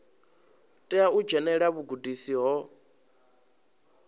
tea u dzhenelela vhugudisi ho